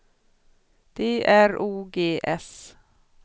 D R O G S